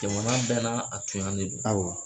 Jamana bɛɛ na a tuɲan de don, awɔ